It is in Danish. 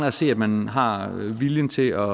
at se at man har viljen til at